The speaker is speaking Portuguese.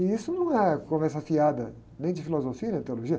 E isso não é conversa afiada nem de filosofia nem de teologia.